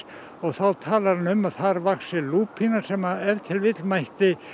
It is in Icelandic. og þá talar hann um að þar vaxi lúpína sem ef til vill mætti